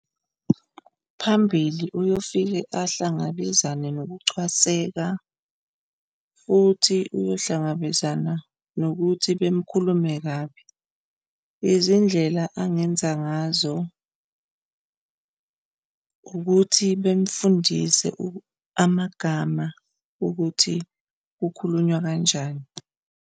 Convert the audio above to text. Phambili uyofike ahlangabezane nokucwaseka futhi uyohlangabezana nokuthi bemkhulume kabi. Izindlela angenza ngazo ukuthi bemfundise amagama ukuthi kukhulunywa kanjani.